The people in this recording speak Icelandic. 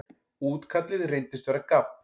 Útkallið reyndist vera gabb.